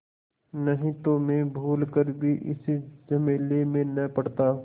नहीं तो मैं भूल कर भी इस झमेले में न पड़ता